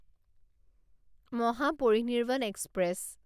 Mahaparinirvan express